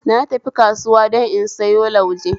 Na tafi kasuwa don in sayo lauje